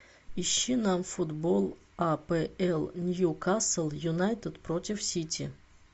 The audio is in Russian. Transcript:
ищи нам футбол апл ньюкасл юнайтед против сити